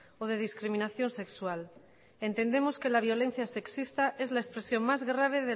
o de discriminación sexual entendemos que la violencia sexista es la expresión más grave